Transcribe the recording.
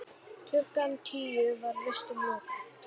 Klukkan tíu var vistum lokað.